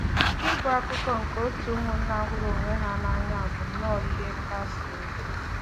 Ịbụ akụkụ nke òtù ụmụnna hụrụ onwe ha n’anya bụ nnọọ ihe nkasi obi!”